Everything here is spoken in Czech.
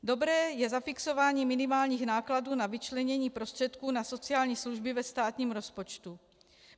Dobré je zafixování minimálních nákladů na vyčlenění prostředků na sociální služby ve státním rozpočtu.